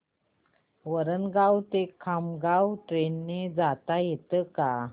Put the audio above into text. वरणगाव ते खामगाव ट्रेन ने जाता येतं का